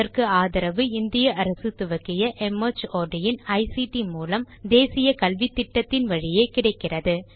இதற்கு ஆதரவு இந்திய அரசு துவக்கிய மார்ட் இன் ஐசிடி மூலம் தேசிய கல்வித்திட்டத்தின் வழியே கிடைக்கிறது